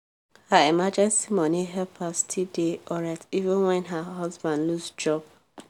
her emergency money help her still dey alright even when her husband lose job.